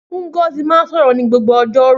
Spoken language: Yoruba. Ngozi máa ń sọ̀rọ̀ ní gbogbo ọjọ́rú.